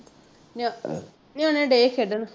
ਨਿਆ ਨਿਆਣੇ ਡਏ ਖੇਡਣ।